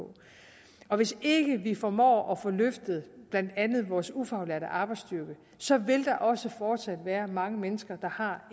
og hvis ikke vi formår at få løftet blandt andet vores ufaglærte arbejdsstyrke så vil der også fortsat være mange mennesker der har